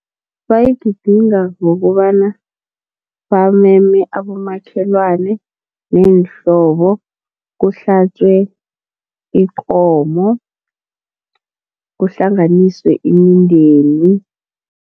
Bayigidinga ngokobana bameme abomakhelwana neenhlobo, kuhlatjwe ikomo kuhlanganiswe imindeni.